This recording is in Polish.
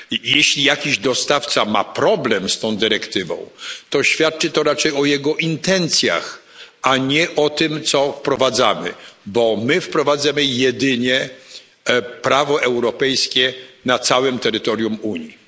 Jeśli jakiś dostawca ma problem z tą dyrektywą, to świadczy to raczej o jego intencjach, a nie o tym, co wprowadzamy, bo my wprowadzamy jedynie prawo europejskie na całym terytorium Unii.